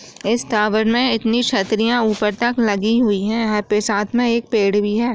इस टावर में इतनी छतरियां ऊपर तक लगी हुई है यहाँ पे साथ में एक पेड़ भी है।